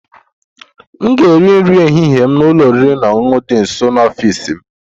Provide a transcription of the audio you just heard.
M ga-eri nri ehihie n'ụlọ oriri na ọṅụṅụ dị nso n'ọfịs m